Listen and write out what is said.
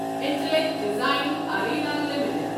intellect Design Arena limited